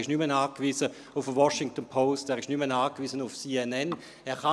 er ist nicht mehr auf eine «Washington Post» angewiesen, und er ist nicht mehr auf «CNN» angewiesen.